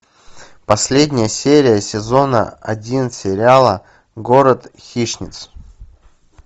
последняя серия сезона один сериала город хищниц